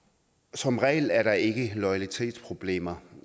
som regel er der ikke loyalitetsproblemer